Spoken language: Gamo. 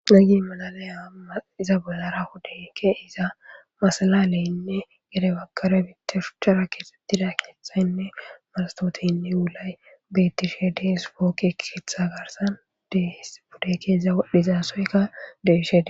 Gagi madalaya iza bolara huddeke iza masalaaleynne gede bakare bite shuchchara keesettida knethaynne marastooteynne yulay bettishe deesfokke etha garsan dhudeke iza dhizaasoyka deeshee.